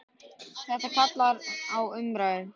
Þetta kallar á umræðu.